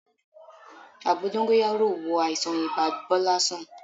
Àgbo dóngóyárò wo àìsàn ibà Bọ́lá sàn